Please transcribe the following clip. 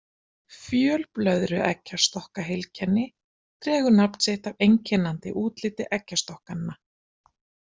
Fjölblöðrueggjastokkaheilkenni dregur nafn sitt af einkennandi útliti eggjastokkanna.